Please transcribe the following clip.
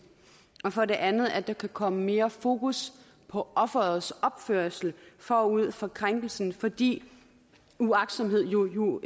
og for det andet at der kan komme mere fokus på offerets opførsel forud for krænkelsen fordi uagtsomhed jo